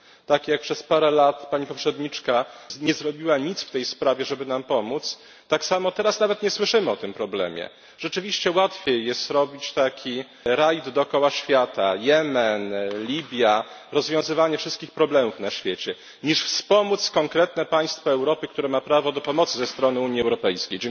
Tak jak przez parę lat Pani poprzedniczka nie zrobiła nic w tej sprawie, żeby nam pomóc, tak samo teraz nawet nie słyszymy o tym problemie. Rzeczywiście łatwiej jest robić taki rajd dookoła świata Jemen, Libia, rozwiązywanie wszystkich problemów na świecie, niż wspomóc konkretne państwo Europy, które ma prawo do pomocy ze strony Unii Europejskiej.